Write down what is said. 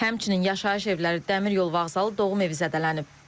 Həmçinin yaşayış evləri, dəmir yol vağzalı, doğum evi zədələnib.